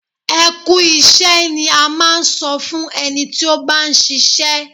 Ẹ kú iṣẹ́ ni a máa ń sọ fún ẹni tí ó bá ń ṣiṣẹ́.